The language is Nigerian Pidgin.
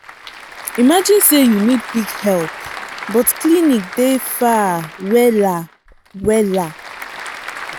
imagine say you need quick help but clinic dey far wella. wella.